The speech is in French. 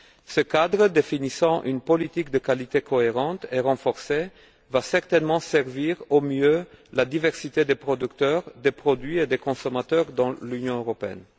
Ce cadre définissant une politique de qualité cohérente et renforcée servira certainement au mieux la diversité des producteurs, des produits et des consommateurs dans l'Union européenne.